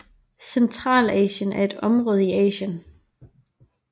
Centralasien er et område i Asien